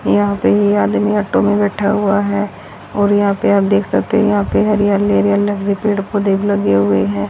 यहां पे ये आदमी ऑटो में बैठा हुआ है और यहां पे आप देख सकते हैं यहां पे हरियाली पेड़ पौधे लगे हुए हैं।